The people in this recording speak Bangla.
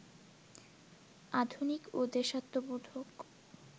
আধুনিক ও দেশাত্মবোধক